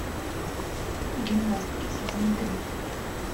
гимнастки сезон три